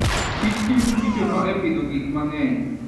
kich tiyo gi kichono e pidho gik mang'eny.